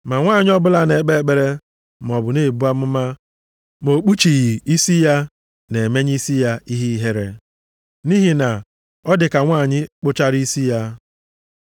Ma nwanyị ọbụla na-ekpe ekpere maọbụ na-ebu amụma, ma o kpuchighị isi ya, na-emenye isi ya ihe ihere, nʼihi na ọ dịka nwanyị kpụchara isi ya.